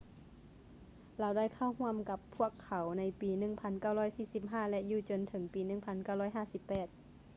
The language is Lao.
ລາວໄດ້ເຂົ້າຮ່ວມກັບພວກເຂົາໃນປີ 1945 ແລະ ຢູ່ຈົນເຖິງປີ 1958